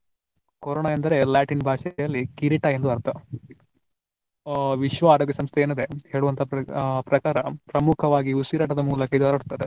Corona ಅಂದ್ರೆ Latin ಭಾಷೆಯಲ್ಲಿ ಕಿರೀಟ ಎಂದು ಅರ್ಥ. ಆ ವಿಶ್ವ ಆರೋಗ್ಯ ಸಂಸ್ಥೆ ಏನಿದೆ ಹೇಳುವಂತ ಪ್ರ~ ಪ್ರಕಾರ ಪ್ರಮುಖವಾಗಿ ಉಸಿರಾಟದ ಮೂಲಕ ಇದು ಹರಡ್ತದೆ.